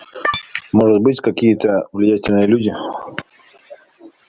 может быть какие-то влиятельные люди